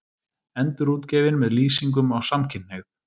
Endurútgefin með lýsingum á samkynhneigð